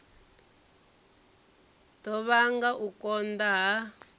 ḓo vhanga u konḓa ha